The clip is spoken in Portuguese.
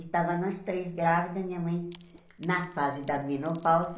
E estávamos nós três grávidas, minha mãe na fase da menopausa.